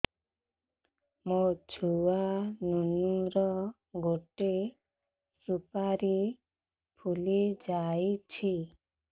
ମୋ ଛୁଆ ନୁନୁ ର ଗଟେ ସୁପାରୀ ଫୁଲି ଯାଇଛି